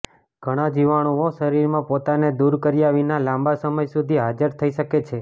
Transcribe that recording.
ઘણા જીવાણુઓ શરીરમાં પોતાને દૂર કર્યા વિના લાંબા સમય સુધી હાજર થઈ શકે છે